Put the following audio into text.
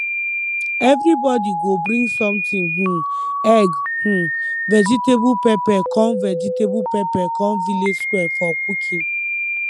everybody go bring something um egg um vegetable pepper come vegetable pepper come village square for cooking